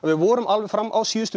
við vorum fram á síðustu